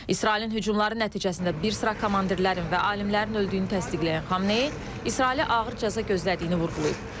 İsrailin hücumları nəticəsində bir sıra komandirlərin və alimlərin öldüyünü təsdiqləyən Xamneyi İsrailə ağır cəza gözlədiyini vurğulayıb.